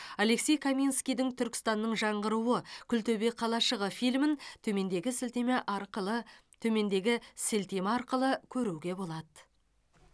алексей каменскийдің түркістанның жаңғыруы күлтөбе қалашығы фильмін төмендегі сілтеме арқылы төмендегі сілтеме арқылы көруге болады